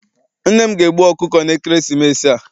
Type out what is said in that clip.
Nne m ga- egbu ọkụkọ na ekeresimesi a.